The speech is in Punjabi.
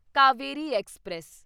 ਕਾਵੇਰੀ ਐਕਸਪ੍ਰੈਸ